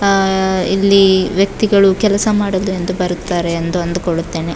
ಆ ಇಲ್ಲಿ ವ್ಯಕ್ತಿಗಳು ಕೆಲಸ ಮಾಡಲೆಂದು ಬರುತ್ತಾರೆ ಎಂದು ಅಂದುಕೊಳ್ಳುತ್ತೇನೆ.